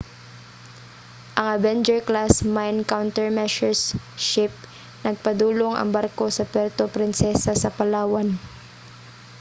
ang avenger-class mine countermeasures ship nagpadulong ang barko sa puerto princesa sa palawan